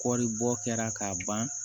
Kɔɔri bɔ kɛra k'a ban